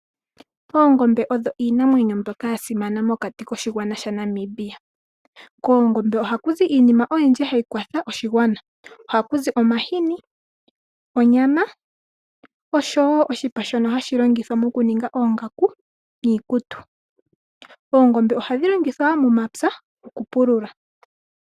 Oongombe odho iinamwenyo mbyoka yasimana mokati koshigwana Namibia. Koongombe ohaku zi iinima oyindji hayi kwatha oshigwana. Ohaku zi omahini , onyama oshowoo oshipa shono hashi longithwa okuninga oongaku niikutu. Oongombe ohadhi longithwa wo momapya okupulula.